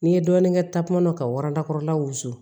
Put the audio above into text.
N'i ye dɔɔnin kɛ takuma ka warada kɔrɔlaw wusu